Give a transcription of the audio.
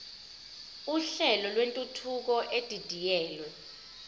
uhlelo lwentuthuko edidiyelwe